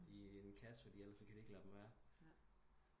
I en kasse eller kan de ikke lade dem være